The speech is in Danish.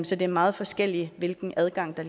så det er meget forskelligt hvilken adgang